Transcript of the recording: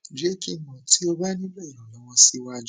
jẹ ki n mọ ti o ba nilo iranlọwọ siwaju